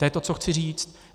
To je to, co chci říct.